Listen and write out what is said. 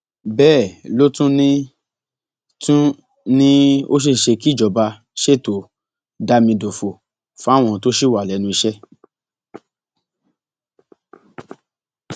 bẹẹ ló tún ní tún ní ó ṣeé ṣe kí ìjọba ṣètò dámidòfo fáwọn tó ṣì wà lẹnu iṣẹ